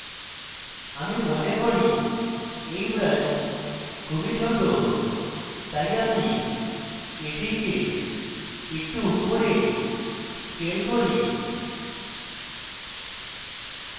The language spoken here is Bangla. আমি মনে করি এই brush খুবই ছোট তাই আমি এটিকে একটু উপরে scale করি